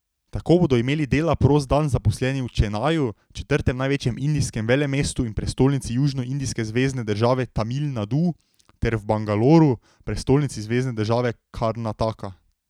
Tako bodo imeli dela prost dan zaposleni v Čenaju, četrtem največjem indijskem velemestu in prestolnici južnoindijske zvezne države Tamil Nadu, ter v Bangaloru, prestolnici zvezne države Karnataka.